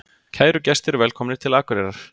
Kæru gestir! Velkomnir til Akureyrar.